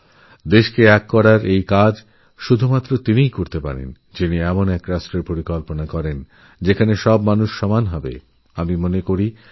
তিনি বলতেন দেশকে এক সূত্রে গাঁথার কাজ সেইমানুষই করতে পারেন যিনি এমন রাষ্ট্রের স্বপ্ন দেখেন যেখানে সমস্ত মানুষের সমানঅধিকার আছে